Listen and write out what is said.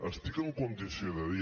estic en condició de dir